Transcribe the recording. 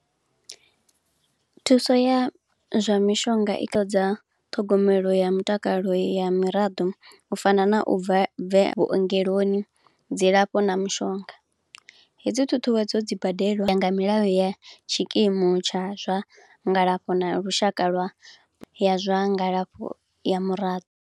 Thuso ya zwa mishonga i ṱhogomelo ya mutakalo ya miraḓo, u fana na u bva bve vhuongeloni dzilafho na mushonga. Hedzi ṱhuṱhuwedzo dzi badeliwa nga milayo ya tshikimu tsha zwangalafho na lushaka lwa ya zwa ngalafho ya mura.